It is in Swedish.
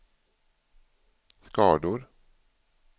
skador